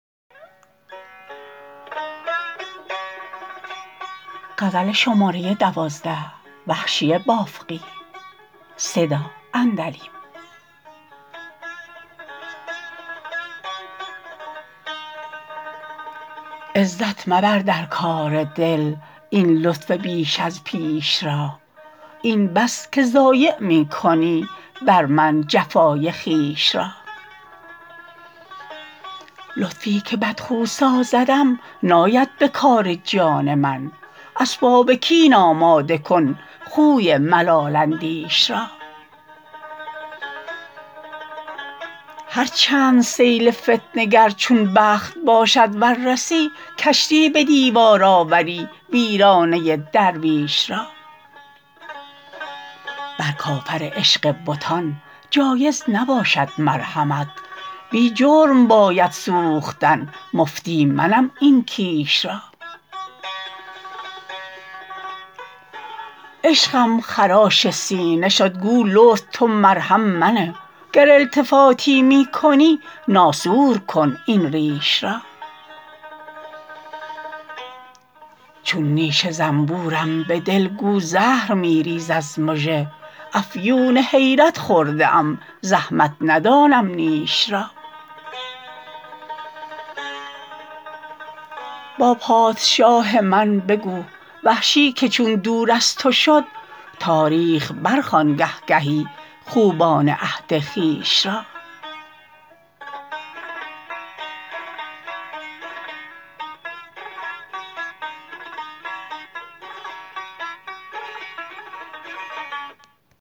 عزت مبردر کار دل این لطف بیش از پیش را این بس که ضایع می کنی برمن جفای خویش را لطفی که بد خو سازدم ناید به کار جان من اسباب کین آماده کن خوی ملال اندیش را هر چند سیل فتنه گر چون بخت باشد ور رسی کشتی به دیوار آوری ویرانه درویش را بر کافر عشق بتان جایز نباشد مرحمت بی جرم باید سوختن مفتی منم این کیش را عشقم خراش سینه شد گو لطف تو مرهم منه گر التفاتی می کنی ناسور کن این ریش را چون نیش زنبورم به دل گو زهر می ریز از مژه افیون حیرت خورده ام زحمت ندانم نیش را با پادشاه من بگو وحشی که چون دور از تو شد تاریخ برخوان گه گهی خوبان عهد خویش را